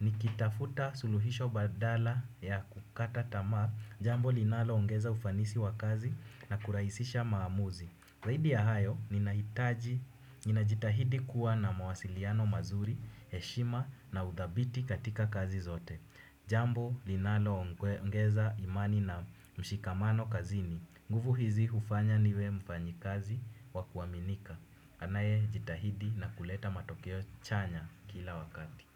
Nikitafuta suluhisho badala ya kukata tamaa jambo linalo ongeza ufanisi wa kazi na kurahisisha maamuzi. Zaidi ya hayo, ninajitahidi kuwa na mawasiliano mazuri, heshima na udhabiti katika kazi zote. Jambo linalo ongeza imani na mshikamano kazini. Nguvu hizi hufanya niwe mfanyi kazi wa kuaminika. Anaye jitahidi na kuleta matokeo chanya kila wakati.